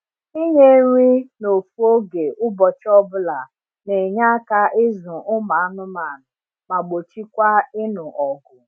ịnye nri na ofu oge ụbọchị ọbula n’enye aka ịzụ ụmụ anụmanụ ma gbochikwa ịnụ ọgụ